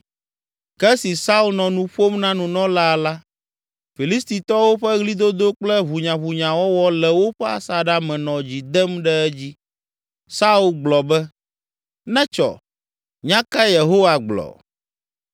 Ke esi Saul nɔ nu ƒom na nunɔlaa la, Filistitɔwo ƒe ɣlidodo kple ʋunyaʋunyawɔwɔ le woƒe asaɖa me nɔ dzi dem ɖe edzi. Saul gblɔ be, “Netsɔ! Nya kae Yehowa gblɔ?”